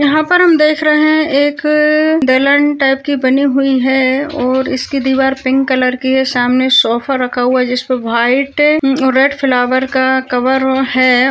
यहाँ पर हम देख रहे हैं एक अ टाइप की बनी हुई है और इसकी दीवार पिंक कलर की है सामने सोफा रखा हुआ है जिस पे वाईट रेड फ्लावर का कवर है।